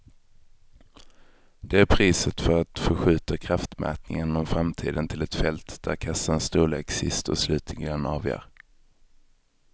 Det är priset för att förskjuta kraftmätningen om framtiden till ett fält där kassans storlek sist och slutligen avgör.